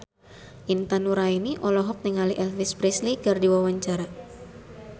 Intan Nuraini olohok ningali Elvis Presley keur diwawancara